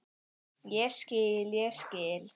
Ég skil, ég skil.